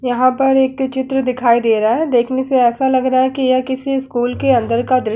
यहाँ पर एक चित्र दिखाई दे रहा है। देखने से ऐसा लग रहा है की यह किसी स्कूल के अंदर का द्र --